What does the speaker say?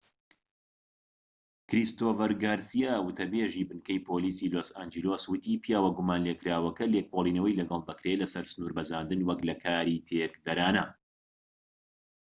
کریستۆفەر گارسیا وتە بێزی بنکەی پۆلیسی لۆس ئانجلس وتی پیاوە گومان لێکراوەکە لێکۆڵینەوەی لەگەڵ دەکرێت لەسەر سنور بەزاندن وەك لە کاری تێکدەرانە